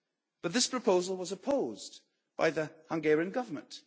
but this proposal was opposed by the Hungarian Government.